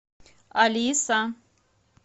алиса